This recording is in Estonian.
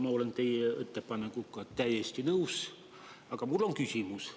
Ma olen teie ettepanekuga täiesti nõus, aga mul on küsimus.